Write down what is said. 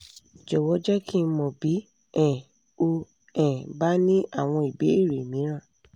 jọ̀wọ́ jẹ́ kí n mọ̀ bí um o um bá ní àwọn ìbéèrè mìíràn